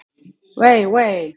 Vei, vei!